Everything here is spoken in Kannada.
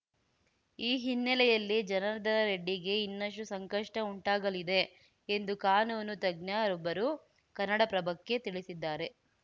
ಈ ಹಿನ್ನೆಲೆಯಲ್ಲಿ ಜನಾರ್ದನ ರೆಡ್ಡಿಗೆ ಇನ್ನಷ್ಟುಸಂಕಷ್ಟಉಂಟಾಗಲಿದೆ ಎಂದು ಕಾನೂನು ತಜ್ಞರೊಬ್ಬರು ಕನ್ನಡಪ್ರಭಕ್ಕೆ ತಿಳಿಸಿದ್ದಾರೆ